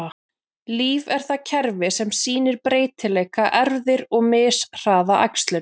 Líf er það kerfi sem sýnir breytileika, erfðir, og mishraða æxlun.